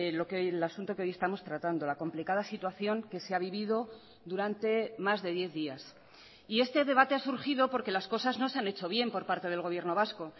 lo que el asunto que hoy estamos tratando la complicada situación que se ha vivido durante más de diez días y este debate ha surgido porque las cosas no se han hecho bien por parte del gobierno vasco